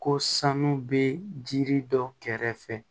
Ko sanu bɛ jiri dɔ kɛrɛfɛ